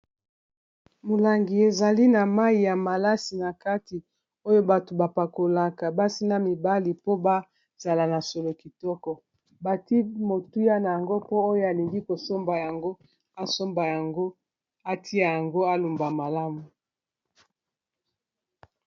Molangi, ezali na mai ya malasi na kati, oyo bato ba pakolaka ; basi na mibali po ba zala na solo kitoko. Bati motuya na yango, po oyo alingi kosomba yango; asomba yango, atia yango alumba malamu.